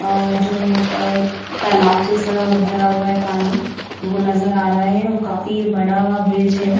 और जो अः तालाब जैसा भरा हुआ है पानी वो नज़र आ रहा है वो काफी बड़ा ब्रिज है।